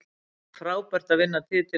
Það er frábært að vinna titilinn að nýju.